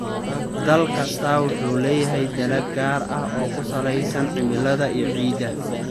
Dal kastaa wuxuu leeyahay dalag gaar ah oo ku salaysan cimilada iyo ciidda.